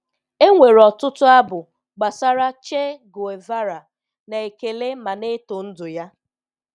E nwere ọtụtụ abụ gbasara Che Guevara, na-ekele ma na-eto ndụ ya.